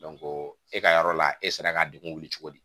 e ka yɔrɔ la e sera ka degun wuli cogo di